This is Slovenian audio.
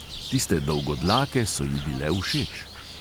Tiste dolgodlake so ji bile všeč.